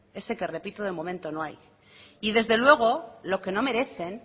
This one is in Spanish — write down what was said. ese que repito de momento no hay y desde luego lo que no merecen